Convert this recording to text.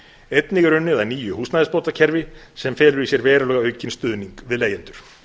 einnig er unnið að nýju húsnæðisbótakerfi sem felur í sér verulega aukinn stuðning við leigjendur